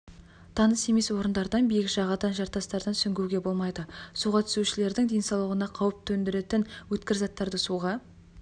таныс емес орындардан биік жағадан жартастартан сүңгуге болмайды суға түсушілердің денсаулығына қауіп төндіретін өткір заттарды суға